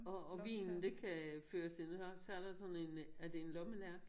Og og vinen det kan føre til så så er der sådan en er det en lommelærke?